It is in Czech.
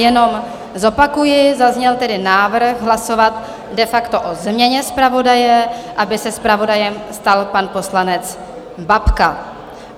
Jenom zopakuji, zazněl tedy návrh hlasovat de facto o změně zpravodaje, aby se zpravodajem stal pan poslanec Babka.